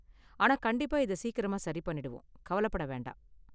ஆனா கண்டிப்பா இதை சீக்கிரமா சரி பண்ணிடுவோம், கவலைப்பட வேண்டாம்